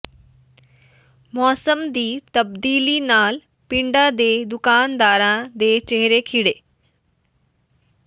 ਮੌਸਮ ਦੀ ਤਬਦੀਲੀ ਨਾਲ ਪਿੰਡਾਂ ਦੇ ਦੁਕਾਨਦਾਰਾਂ ਦੇ ਚਿਹਰੇ ਖਿੜੇ